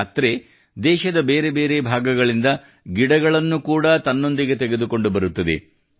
ಈ ಯಾತ್ರೆ ದೇಶದ ಬೇರೆ ಬೇರೆ ಭಾಗಗಳಿಂದ ಗಿಡಗಳನ್ನು ಕೂಡಾ ತನ್ನೊಂದಿಗೆ ತೆಗೆದುಕೊಂಡು ಬರುತ್ತದೆ